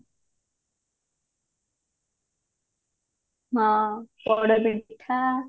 ହଁ ପୋଡପିଠା